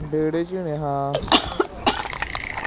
ਵੇਹੜੇ ਚੋ ਹੀ ਨੇ ਹਾਂ